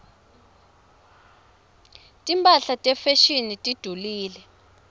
timphahla tefashini tidulile